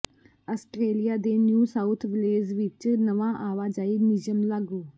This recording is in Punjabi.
ਆਸਟ੍ਰੇਲੀਆ ਦੇ ਨਿਊ ਸਾਊਥ ਵਲੇਜ਼ ਵਿੱਚ ਨਵਾਂ ਆਵਾਜਾਈ ਨਿਯਮ ਲਾਗੂ